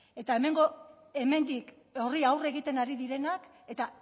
eta hemendik horri aurre egiten ari direnak eta